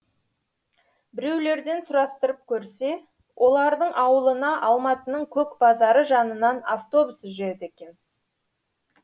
біреулерден сұрастырып көрсе олардың ауылына алматының көк базары жанынан автобус жүреді екен